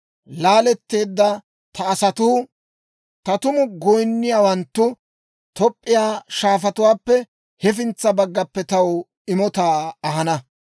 Laaletteedda ta asatuu, taw tumu goyinniyaawanttu Toop'p'iyaa shaafatuwaappe hefintsa baggappe taw imotaa ahana.